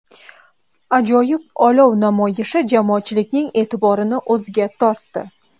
Ajoyib olov namoyishi jamoatchilikning e’tiborini o‘ziga tortdi!